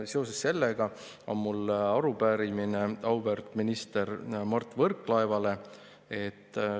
Seoses sellega on mul arupärimine auväärt minister Mart Võrklaevale.